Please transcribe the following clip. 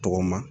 Tɔgɔma